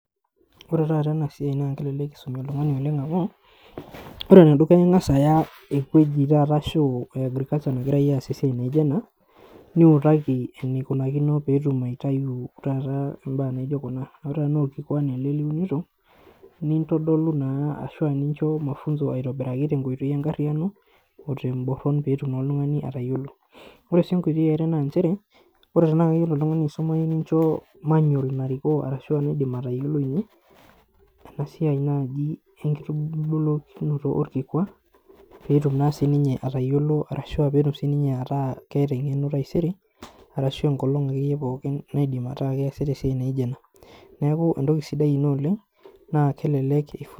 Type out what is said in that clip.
Ore taata ena siai naa kelelek eisomi oltung'ani oleng' amu ore enedukuya naa ing'as aya ewueji taata ashu e agriculture nagirai aasie esiai naijo ena niutaki enikunakino peetum aitayu taata imbaa naijo kuna. Ore enaa orkikwa ele liunito, nintodolu naa ashu nincho mafunzo aitobiraki tenkoitoi e nkarriyiano o temborron peetumoki oltung'ani atayiolo. Ore sii enkoitoi e are naa nchere, ore tenaa keyiolo oltung'ani aisumayu nincho manual narikoo ashu enaaidim atayiolounye ena siai naaji enkitubulunoto orkikwa peetum naa siininye atayiolo ashu peetum naa siininye ataa keeta eng'eno taisere arashu enkolong' akeyie pookin naaidim ataa keesita esiai naijo ena. Neeku entoki sidai ina oleng' naa kelelek